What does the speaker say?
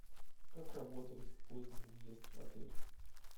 как работает поздний въезд в отель